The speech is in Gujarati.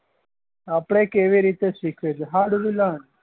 આપડે કેવી રીતે સીખીયે છીએ હાડ્લુંલા